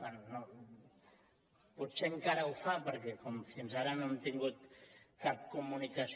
bé potser encara ho fa perquè com fins ara no hem tingut cap comunicació